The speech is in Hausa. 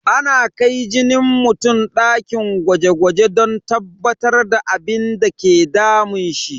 Ana kai jinin mutum dakin gwaje gwaje don tabbatar da abinda ke damun shi.